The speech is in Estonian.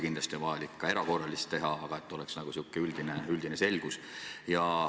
Kindlasti on vaja ka erakorralisi teateid edastada, aga et oleks mingisugune üldine selgus.